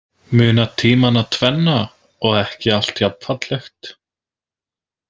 Muna tímana tvenna og ekki allt jafnfallegt.